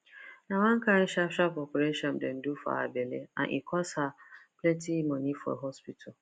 na one kain sharp sharp operation dem do for her belle and e cost her plenty money for hospital